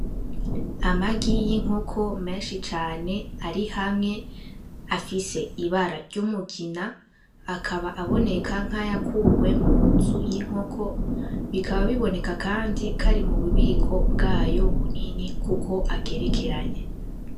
Amagi yinkokó menshi cane ari hamwe afise ibara ryumugina akaba akoneka nkayakuwe munzu yinkokó bikaba biboneka kandi kari mububiko bwayo bunini kuko agerekeranye.